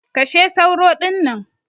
Kashe sauro dinnan!